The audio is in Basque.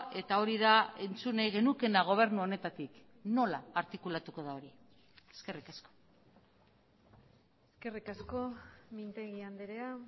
eta hori da entzun nahi genukeena gobernu honetatik nola artikulatuko da hori eskerrik asko eskerrik asko mintegi andrea